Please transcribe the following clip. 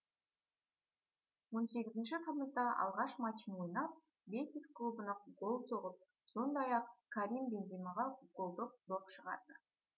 он сегізінші тамызда алғаш матчын ойнап бетис клубына гол соғып сондай ақ карим бенземаға голдық доп шығарды